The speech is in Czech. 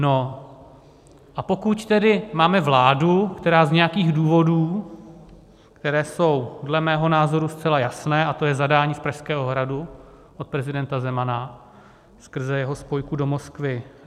No a pokud tedy máme vládu, která z nějakých důvodů, které jsou dle mého názoru zcela jasné, a to je zadání z Pražského hradu od prezidenta Zemana skrze jeho spojku do Moskvy